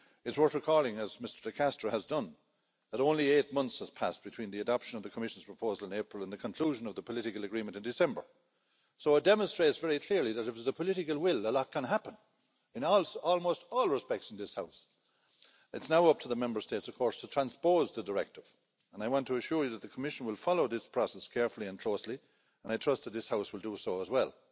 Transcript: It's worth recalling, as Mr De Castro has done, that only eight months passed between the adoption of the Commission's proposal in April and the conclusion of the political agreement in December, so it demonstrates very clearly that if there is the political will a lot can happen in almost all respects in this House. It will now be up to the Member States to transpose the directive, and I want to assure you that the Commission will follow this process carefully and closely and I trust that this House will do so as well.